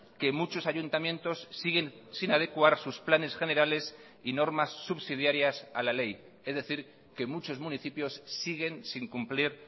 que muchos ayuntamientos siguen sin adecuar sus planes generales y normas subsidiarias a la ley es decir que muchos municipios siguen sin cumplir